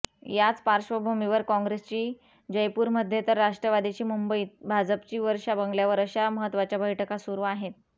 याच पार्श्वभूमीवर काँग्रेसची जयपूरमध्ये तर राष्ट्रवादीची मुंबईत भाजपची वर्षा बंगल्यावर अशा महत्त्वाच्या बैठका सुरू आहेत